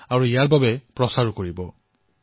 এনে বাৰ্তা মোলৈ দেশৰ প্ৰতিটো প্ৰান্তৰৰ পৰা আহিবলৈ ধৰিছে